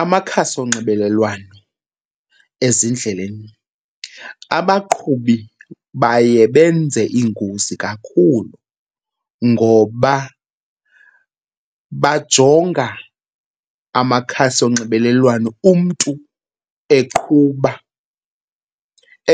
Amakhasi onxibelelwano ezindleleni, abaqhubi baye benze iingozi kakhulu ngoba bajonga amakhasi onxibelelwano. Umntu eqhuba,